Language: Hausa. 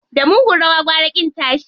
Da mugun rawa gwara ƙin tashi.